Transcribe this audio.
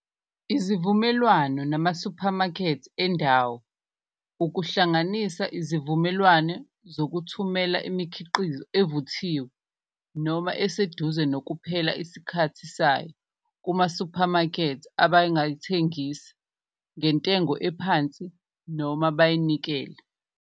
Izivumelwano namasuphamakhethi endawo, ukuhlanganisa izivumelwane zokuthumela imikhiqizo evuthiwe noma eseduze nokuphela isikhathi sayo kumasiphamakethi abangayithengisa ngentengo ephansi noma bayinikele.